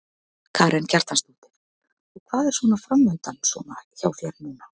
Karen Kjartansdóttir: Og hvað er svona framundan svona hjá þér núna?